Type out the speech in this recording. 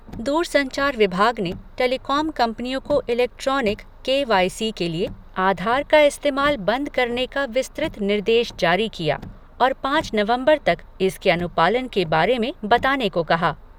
दूरसंचार विभाग ने टेलीकॉम कंपनियों को इलेक्ट्रॉनिक के वाई सी के लिए आधार का इस्तेमाल बंद करने का विस्तृत निर्देश जारी किया और पांच नवम्बर तक इसके अनुपालन के बारे में बताने को कहा।